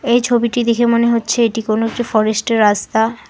এই ছবিটি দেখে মনে হচ্ছে এটি কোনো একটি ফরেস্টের রাস্তা।